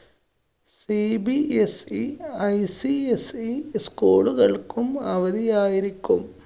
cbseicseschool കള്‍ക്കും അവധിയായിരിക്കും.